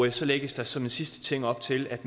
i så lægges der som en sidste ting op til at